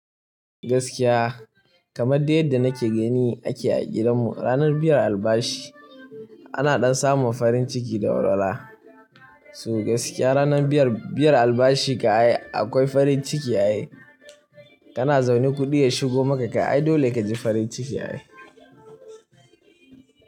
Gaskiya kamar dai yadda nake gani ake a gidanmu. Ranar biyar albashi ana ɗan samun farin ciki da warara. So gaskiya ranar biyar, biyar albashi kam ai akwai farin ciki ya yi. Kana zaune kuɗi ya shigo maka kam ai dole ka ji farin ciki ai.